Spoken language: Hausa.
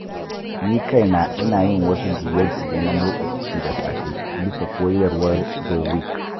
Ni kaina, ina yin wasu juye-juye na motsa jiki da safe bisa koyarwar Joe Wicks.